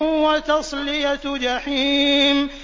وَتَصْلِيَةُ جَحِيمٍ